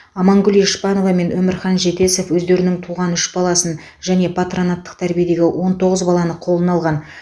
амангүл ешпанова мен өмірхан жетесов өздерінің туған үш баласын және патронаттық тәрбиедегі он тоғыз баланы қолына алған